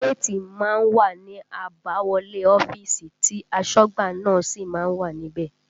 Géètì má ń wà ní àbáwọlé ọ́fíìsì tí asọ́gbà náà sì má ń wà níbẹ̀